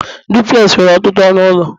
duplex nwere ọtụtụ ọnụ ụlọ